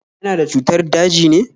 Yana da cutar daji ne?